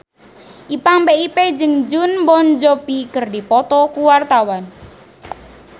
Ipank BIP jeung Jon Bon Jovi keur dipoto ku wartawan